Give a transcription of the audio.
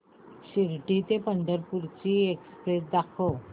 शिर्डी ते पंढरपूर ची एक्स्प्रेस दाखव